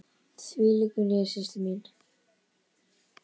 Því lýkur hér, systir mín.